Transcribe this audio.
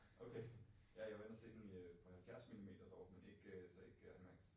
Okay. Ja, jeg var inde og se den i øh på 70 milimeter dog men ikke øh så ikke iMax